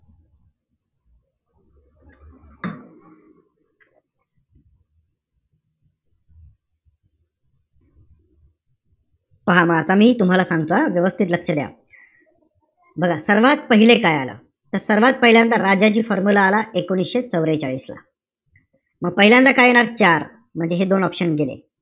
पहा म आता मी तुम्हाला सांगतो हा व्यवस्थित लक्ष द्या. बघा, सर्वात पाहिले काय आलं? तर सर्वात पहिल्यांदा राजाजी formula आला, एकोणीशे चवरेचाळीस ला. म पहिल्यांदा काय येणार? चार. म्हणजे हे दोन option गेले.